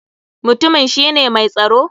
Mutumin shi ne mai tsaro?